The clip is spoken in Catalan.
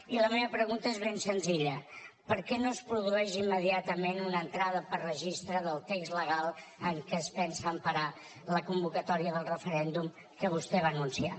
i la meva pregunta és ben senzilla per què no es produeix immediatament una entrada per registre del text legal en què es pensa emparar la convocatòria del referèndum que vostè va anunciar